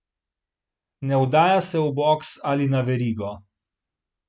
Ne oddaja se v boks ali na verigo!